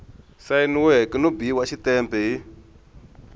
sayiniweke no biwa xitempe hi